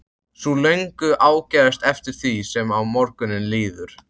Sú löngun ágerist eftir því sem á morguninn líður.